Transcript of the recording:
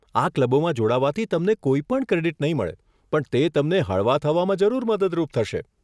આ ક્લબોમાં જોડાવાથી તમને કોઈ પણ ક્રેડીટ નહીં મળે પણ તે તમને હળવા થવામાં જરૂર મદદરૂપ થશે